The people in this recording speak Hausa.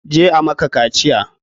Je a maka kaciya!